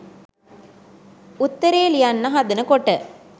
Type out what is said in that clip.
උත්තරේ ලියන්න හදන කොට